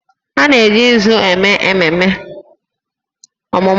A na-eji nzu eme ememe ọmụmụ nwa